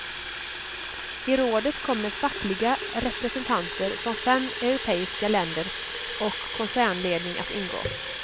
I rådet kommer fackliga representanter från fem europeiska länder och koncernledning att ingå.